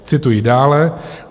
Cituji dále.